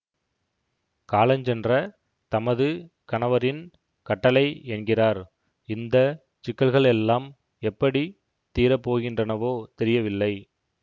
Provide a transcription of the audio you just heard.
காலஞ்சென்ற தமது கணவரின் கட்டளை என்கிறார் இந்த சிக்கல்களெல்லாம் எப்படி தீரப் போகின்றனவோ தெரியவில்லை